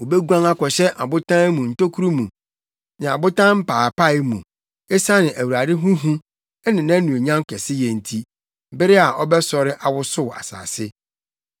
Wobeguan akɔhyɛ abotan mu ntokuru mu ne abotan mpaapae mu esiane Awurade ho hu ne nʼanuonyam kɛseyɛ nti, bere a ɔbɛsɔre awosow asase.